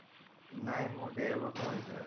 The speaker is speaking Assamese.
নাই মোৰ দেৰ বছৰ হৈছিলে